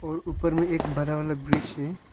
और ऊपर में एक बरा वाला ब्रिज है।